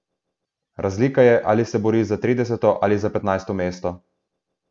Razlika je, ali se boriš za trideseto ali za petnajsto mesto.